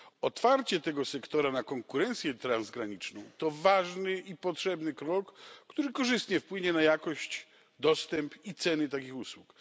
Otwarcie tego sektora na konkurencję transgraniczną to ważny i potrzebny krok, który korzystnie wpłynie na jakość, dostęp i ceny takich usług.